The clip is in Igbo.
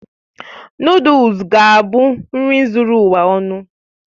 Nụ́dúls es ga-abụ nri zuru ụwa ọnụ